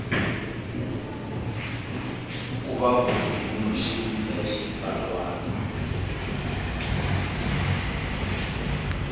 ku va ku tumbuluxiwile xitsalwana